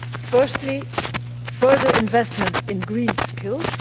Firstly, further investment in green skills.